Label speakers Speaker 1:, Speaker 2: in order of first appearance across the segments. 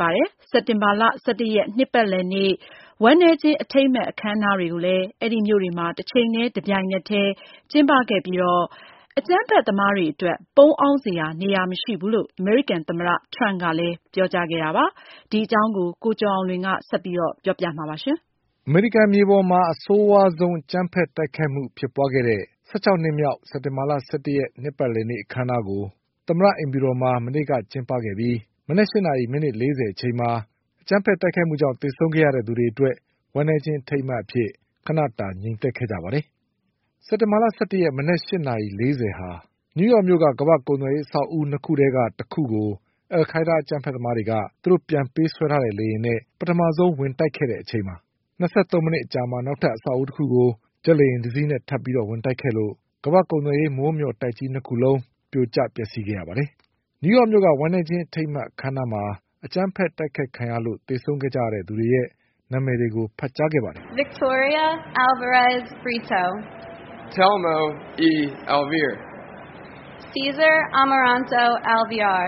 Speaker 1: ပါပြီ။ စက်တင်ဘာ၁၁ရက် နှစ်ပတ်လည်နေ့ ဝမ်းနည်းခြင်း အထိမ်းအမှတ် အခန်းအနားတွေကို နယူးယောက်နဲ့ဝါရှင်တန်ဒီစီမြို့တွေမှာ တချိန်ထဲတပြိုင်နက်ထဲမနေ့က ကျင်းပခဲ့ကြပြီး အကြမ်းဖက်သမားတွေအတွက် ပုန်းအောင်းစရာ နေရာမရှိဘူးလို့ အမေရိကန်သမ္မတထရမ့်ကပြောပါတယ်။ ဒီ အကြောင်း ကိုကျော်အောင်လွင်က ဆက်ပြီးပြောပြပါလိမ့်မယ်။ အမေရိကန်မြေပေါ်မှာ အဆိုးဝါးဆုံးအကြမ်းဖက်တိုက်ခိုက်မှုဖြစ်ပွါးခဲ့တဲ့ ၁၆နှစ်မြောက် စက်တင်ဘာလ၁၁ရက် နှစ်ပတ်လည်နေ့အခန်းအနားကို သမ္မတအိမ်ဖြူတော်မှာ မနေ့ကကျင်းပခဲ့ပြီးမနက်၈နာရီ မိနစ်၄၀အချိန်မှာ အကြမ်းဖက်တိုက်ခိုက်မှုကြောင့်သေဆုံးခဲ့ရသူတွေအတွက်ဝမ်းနည်းခြင်းအထိမ်းအမှတ်အဖြစ် ခဏ ငြိမ်သက်ခဲ့ကြပါတယ်။ စက်တင်ဘာ ၁၁ရက် မနက်၈နာရီ၄၀အချိန်မှာ နယူးယောက်မြို့က ကမ္ဘာ့ကုန်သွယ်ရေးအဆောက်အဦး၂ခုထဲက တခုကို အလ်ခိုက်ဒါးအကြမ်းဘက်သမားတွေက သူတို့ပြန်ပေးဆွဲထားတဲ့လေယာဉ်နဲ့ပထမဆုံးဝင်တိုက်ခဲ့တဲ့အချိန်ပါ။ ၂၃မိနစ် အကြာမှာ နောက်ထပ်အဆောက်အဦးတခုကို ဂျက်လေယာဉ်တစီးနဲ့ထပ်ပြီးဝင်တိုက်ခဲ့လို့ ကမ္ဘာ့ကုန်သွယ်ရေးမိုးမျှော် တိုက်ကြီး၂ခုလုံးပြိုကျပျက်စီးခဲ့ရပါတယ်။ နယူးယောက်မြို့က ဝမ်းနည်းခြင်းအထိမ်းအမှတ်အခမ်းအနားမှာ အကြမ်းဖက်တိုက်ခိုက်ခံရလို့သေဆုံးခဲ့ရသူတွေရဲ့ နာမည်တွေကို ဖတ်ကြားခဲ့ပါတယ်
Speaker 2: ။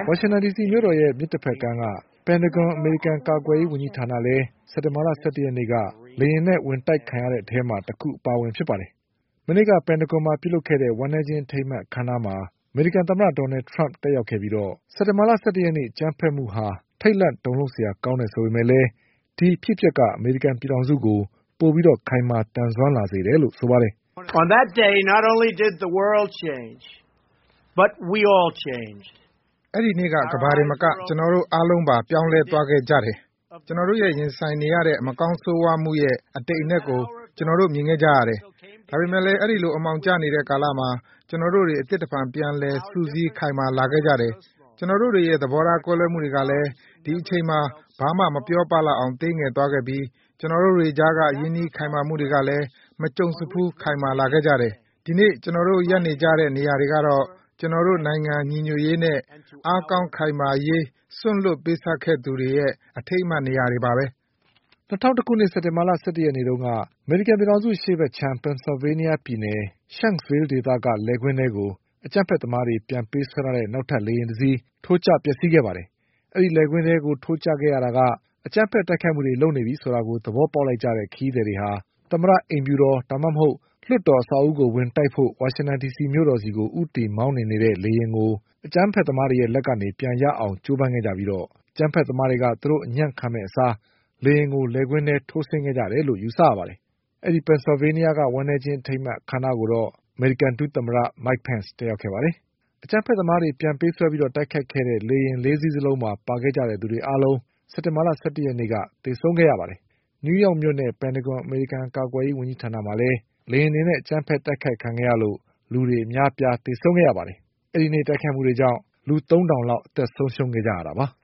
Speaker 2: ဝ
Speaker 1: ါရှင်တန်ဒီစီမြို့တော်ရဲ့မြစ်တဘက်ကမ်းက ပန်တဂွန် အမေရိကန်ကာ ကွယ်ရေးဝန်ကြီးဌာနလည်း စက်တင်ဘာ၁၁ရက်နေ့က လေယာဉ်နဲ့ဝင်တိုက်ခံရတဲ့အထဲမှာ တခုအပါအဝင်ဖြစ်ပါတယ်။ မနေ့က ပန်တဂွန်မှာလုပ်ခဲ့တဲ့ဝမ်းနည်းခြင်းအထိမ်းအမှတ်အခမ်းအနားမှာ အမေရိကန်သမ္မတဒေါ်နလ်ထရမ့် တက် ရောက်ခဲ့ပြီး စက်တင်ဘာ၁၁ရက်နေ့ အကြမ်းဘက်မှုဟာ ထိတ်လန့်တုန်လှုပ်စရာကောင်းတယ်ဆိုပေမဲ့ ဒီအဖြစ် အပျက်က အမေရိကန်ပြည်ထောင်စုကို ပိုပြီးခိုင်မာသန်စွမ်းလာစေတယ်လို့ပြောခဲ့ပါတယ်
Speaker 2: ။ "အဲဒီနေ့က ကမ္ဘာတင်မက ကျနော်တို့အားလုံးပါ ပြောင်းလဲသွားခဲ့ကြတယ်။ ကျနော်တို့ရင်ဆိုင်နေရတဲ့ မကောင်းဆိုးဝါး မှုရဲ့ အတိမ်အနက်ကို ကျနော်တို့မြင်ခဲ့ကြရတယ်။ ဒါပေမဲ့လည်း အဲဒီလိုအမှောင်ကျနေတဲ့ကာလမှာ ကျနော်တို့တွေ အသစ်တဖန်ပြန်လည်စုစည်းခိုင်မာလာခဲ့ကြတယ်။ ကျနော်တို့တွေရဲ့သဘောထားကွဲလွဲမှုတွေကလည်း ဒီအချိန်မှာ ဘာမှမပြောပလောက်အောင်သေးငယ်သွားခဲ့ပြီး ကျနော်တို့တွေကြားက ရင်းနှီးခိုင်မာမှုတွေကလည်း မကြုံစဖူး ခိုင်မာ လာခဲ့ကြတယ်။ ဒီနေ့ ကျနော်တို့ရပ်နေကြတဲ့ နေရာတွေကတော့ ကျနော်တို့နိုင်ငံညီညွတ်ရေးနဲ့ အားကောင်းခိုင်မာ စေရေး စွန့်လွှတ်ပေးဆပ်ခဲ့သူတွေရဲ့ အထိမ်းအမှတ်နေရာတွေပါပဲ။" စက်တင်ဘာလ ၁၁ရက်နေ့တုန်းက ပင်ဆလ
Speaker 1: ်ဗေးနီးယားပြည်နယ် Shanksville ဒေသက လယ်ကွင်းထဲကို အကြမ်းဖက် သမားတွေပြန်ပေးဆွဲထားတဲ့နောက်ထပ် လေယာဉ်တစီး ထိုးကျပျက်စီးခဲ့ရပါတယ်။ ဒီလိုလယ်ကွင်းထဲထိုးကျခဲ့ရတာက အကြမ်းဖက်တိုက်ခိုက်မှုလုပ်နေပြီဆိုတာကို သဘောပေါက်လိုက်ကြတဲ့ ခရီးသည်တွေက သမ္မတအိမ်ဖြူတော်၊ ဒါမှ မဟုတ် လွှတ်တော်ကိုဝင်တိုက်ဖို့ ဝါရှင်တန်ဒီစီမြို့တော်ကို ဦးတည်မောင်းနှင်နေတဲ့ လေယာဉ်ကို အကြမ်းဘက်သမား တွေလက်ကနေပြန်ရအောင် ကြိုးပမ်းခဲ့ကြပြီး အကြမ်းဘက်သမားတွေက သူတို့အညံ့ခံမယ့်အစား လေယာဉ်ကို လယ် ကွင်းထဲ ထိုးဆင်းခဲ့ကြတယ်လို့ ယူဆရပါတယ်။ ပင်ဆလ်ဗေးနီးယားပြည်နယ်က ဝမ်းနည်းခြင်းအခမ်းအနားကိုတော့ အမေရိကန် ဒုသမ္မတ Mike Pence တက်ရောက်ခဲ့ပါတယ်။ အကြမ်းဖက်သမားတွေပြန်ပေးဆွဲတိုက်ခိုက်ခဲ့တဲ့ လေယာဉ်၄စီးလုံးမှာပါခဲ့ကြသူတွေအားလုံး စက်တင်ဘာ၁၁ရက်နေ့က သေဆုံးခဲ့ကြပါတယ်။ နယူးယောက်မြို့နဲ့ ပန်တဂွန် အမေရိကန်ကာကွယ်ရေးဝန်ကြီးဌာနမှာလည်း လေယာဉ်တွေနဲ့ အကြမ်းဖက်တိုက်ခိုက်မှုခံခဲ့ရလို့ လူတွေအများအပြားသေဆုံးခဲ့ရ ပါတယ်။ အဲဒီနေ့က တိုက်ခိုက်မှုတွေကြောင့် လူ၃ထောင်လောက်သေဆုံးခဲ့တာပါ။